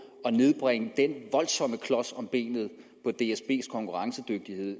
at nedbringe den voldsomme klods om benet på dsbs konkurrencedygtighed